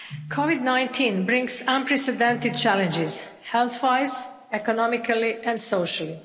COVID-19 brings unprecedented challenges health-wise, economically and socially.